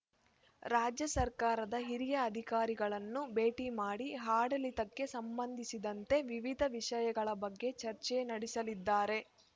ರಾಜ್ಯ ಸರ್ಕಾರದ ಹಿರಿಯ ಅಧಿಕಾರಿಗಳನ್ನು ಭೇಟಿ ಮಾಡಿ ಆಡಳಿತಕ್ಕೆ ಸಂಬಂಧಿಸಿದಂತೆ ವಿವಿಧ ವಿಷಯಗಳ ಬಗ್ಗೆ ಚರ್ಚೆ ನಡೆಸಲಿದ್ದಾರೆ